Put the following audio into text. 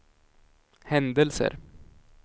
händelser